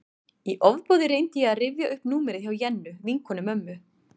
Í ofboði reyndi ég að rifja upp númerið hjá Jennu, vinkonu mömmu.